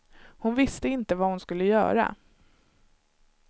Hon visste inte vad hon skulle göra.